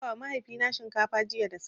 Na dafawa mahaifina shinkafa jiya da safe.